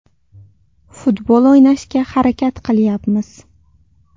Futbol o‘ynashga harakat qilyapmiz.